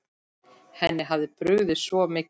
Henni hafði brugðið svo mikið.